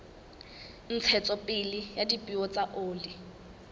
ntshetsopele ya dipeo tsa oli